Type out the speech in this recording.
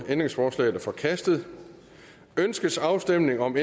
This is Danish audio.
ændringsforslaget er forkastet ønskes afstemning om